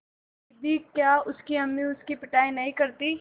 दीदी क्या उसकी अम्मी उसकी पिटाई नहीं करतीं